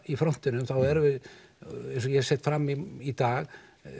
í frontinum eins og ég set fram í dag þá